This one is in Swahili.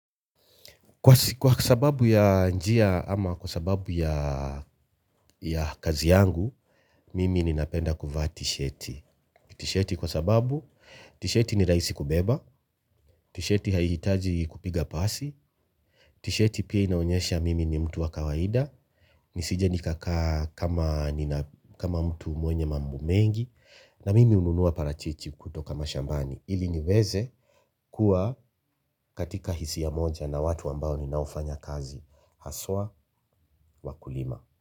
Kwa sababu ya njia ama kwa sababu ya ya kazi yangu, mimi ninapenda kuvaa tisheti. Tisheti kwa sababu, tisheti ni rahisi kubeba, tisheti hahihitaji kupiga pasi, tisheti pia inaonyesha mimi ni mtu wa kawaida, nisije nikakaa kama mtu mwenye mambo mengi, na mimi hununua parachichi kutoka mashambani. Ili niweze kuwa katika hisia moja na watu ambao ninaofanya kazi haswa wakulima.